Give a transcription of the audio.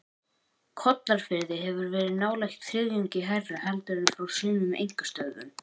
Kollafirði hefur verið nálægt þriðjungi hærra heldur en frá sumum einkastöðvum.